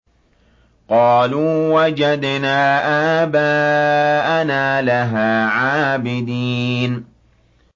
قَالُوا وَجَدْنَا آبَاءَنَا لَهَا عَابِدِينَ